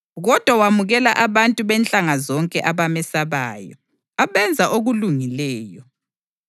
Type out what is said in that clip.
kodwa wamukela abantu benhlanga zonke abamesabayo, abenza okulungileyo.